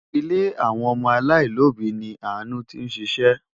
Ilé àwọn ọmọ aláìlóbìí ni Àánú tí ń ṣiṣẹ́.